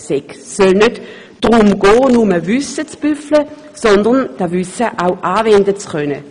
Es soll nicht darum gehen, nur Wissen zu büffeln, sondern dieses Wissen auch anwenden zu können.